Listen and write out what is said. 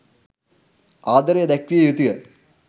ආදරය දැක්විය යුතු ය.